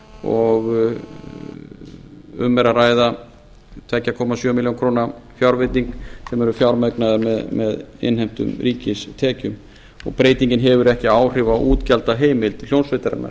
og um er að ræða tvö komma sjö milljónir króna fjárveiting sem er fjármögnuð með innheimtum ríkistekjum og breytingin hefur ekki áhrif á útgjaldaheimild hljómsveitarinnar